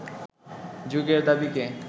যুগের দাবিকে